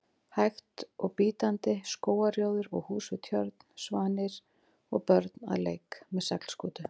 hægt og bítandi: skógarrjóður og hús við tjörn, svanir og börn að leik með seglskútu.